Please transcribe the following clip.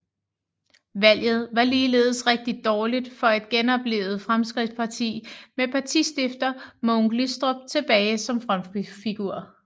Valget var ligeledes rigtig dårligt for et genoplivet Fremskridtsparti med partistifter Mogens Glistrup tilbage som frontfigur